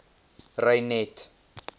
reinet